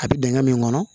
A bɛ dingɛ min kɔnɔ